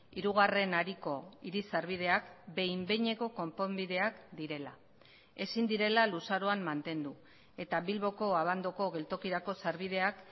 hirugarren hariko hiri sarbideak behin behineko konponbideak direla ezin direla luzaroan mantendu eta bilboko abandoko geltokirako sarbideak